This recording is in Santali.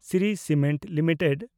Shri cement limited